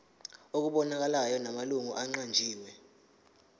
okubonakalayo namalungu aqanjiwe